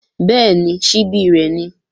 Bẹ́ẹ̀ni, ṣíbí rẹ̀ ni